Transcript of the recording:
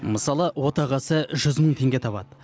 мысалы отағасы жүз мың теңге табады